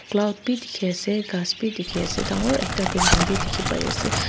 cloud bhi dikhi ase ghas bhi dikhi ase dangor ekta building bhi dikhi pai ase.